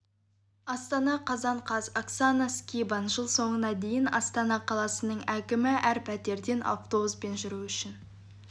астана қазан қаз оксана скибан жыл соңына дейін астана қаласының әкімі әр пәтерден автобуспен жүру үшін